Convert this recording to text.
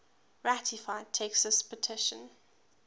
ratified texas petition